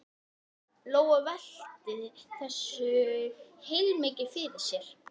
Lóa Lóa velti þessu heilmikið fyrir sér.